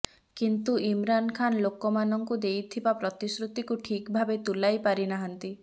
କିନ୍ତୁ ଇମରାନ ଖାନ ଲୋକମାନଙ୍କୁ ଦେଇତିବା ପ୍ରତିଶୃତିକୁ ଠିକ ଭାବେ ତୁଲାଇ ପାରିନାହାଁନ୍ତି